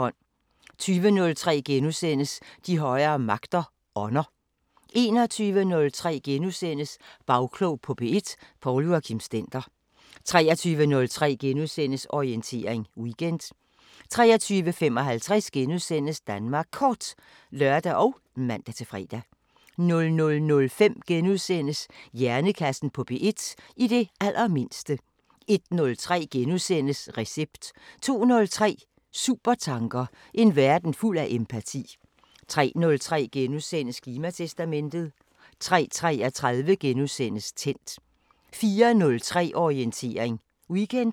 20:03: De højere magter: Ånder * 21:03: Bagklog på P1: Poul Joachim Stender * 23:03: Orientering Weekend * 23:55: Danmark Kort *(lør og man-fre) 00:05: Hjernekassen på P1: I det allermindste * 01:03: Recept * 02:03: Supertanker: En verden fuld af empati 03:03: Klimatestamentet * 03:33: Tændt * 04:03: Orientering Weekend *